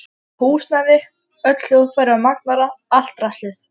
Húsnæði, öll hljóðfæri og magnara, allt draslið.